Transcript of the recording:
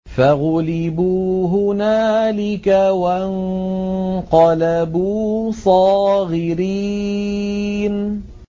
فَغُلِبُوا هُنَالِكَ وَانقَلَبُوا صَاغِرِينَ